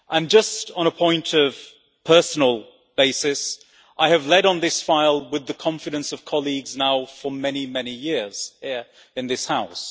Just on a personal basis, I have led on this file with the confidence of colleagues now for many, many years here in this House.